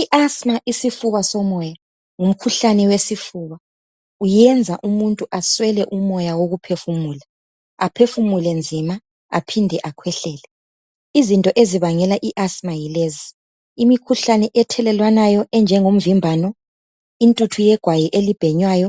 IAsthma ngumkhuhlane womoya iyenza umuntu eswele umoya wokuphefumula aphefumule nzima aphinde akhwehlele izinto ezibangele iasthma yilezi imikhuhlane ethelelwanayo enjengo mvimbano intumbu ebhenyewayo igwayi